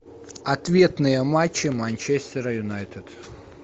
ответные матчи манчестер юнайтед